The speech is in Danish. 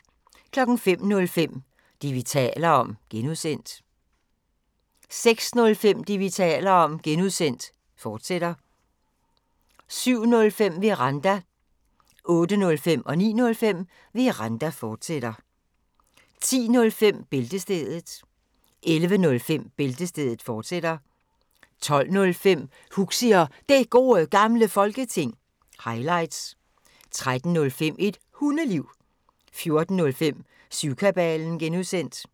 05:05: Det, vi taler om (G) 06:05: Det, vi taler om (G), fortsat 07:05: Veranda 08:05: Veranda, fortsat 09:05: Veranda, fortsat 10:05: Bæltestedet 11:05: Bæltestedet, fortsat 12:05: Huxi og Det Gode Gamle Folketing – highlights 13:05: Et Hundeliv 14:05: Syvkabalen (G)